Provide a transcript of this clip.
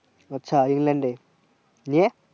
আচ্ছা ইংল্যান্ড এ নিয়ে